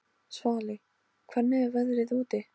Svali, hvernig er veðrið úti?